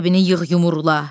Qəzəbini yığ yumurla.